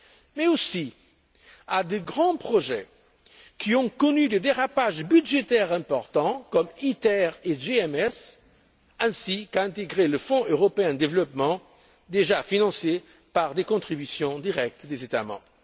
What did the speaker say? mais aussi à de grands projets qui ont connu des dérapages budgétaires importants, comme ITER et GMES, ainsi qu'à intégrer le Fonds européen de développement déjà financé par des contributions directes des États membres.